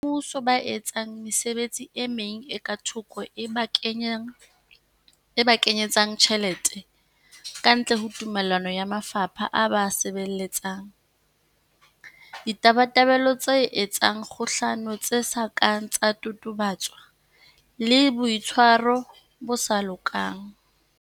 Basebetsi ba Mmuso ba etsang mesebetsi e meng e ka thoko e ba kenye tsang tjhelete kantle ho tumello ya mafapha a ba a sebeletsang, Ditabatabelo tse etsang kgohlano tse sa kang tsa totobatswa le, Boitshwaro bo sa lokang.